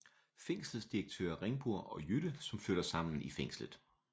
Fængselsdirektør Ringbur og Jytte som flytter sammen i fængslet